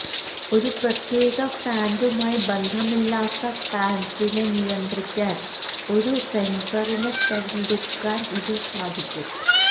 ഒരു പ്രത്യേക ഫാന്റുമായി ബന്ധമില്ലാത്ത ഫാൻസിനെ നിയന്ത്രിക്കാൻ ഒരു സെൻസറിനെ തിരഞ്ഞെടുക്കാൻ ഇത് സാധിക്കും